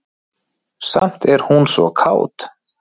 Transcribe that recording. Samt er hún svo kát.